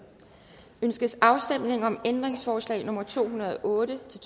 ønskes afstemning om ændringsforslag nummer to hundrede og otte til